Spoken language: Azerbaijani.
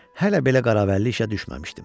Hələ belə qaravəlli işə düşməmişdim.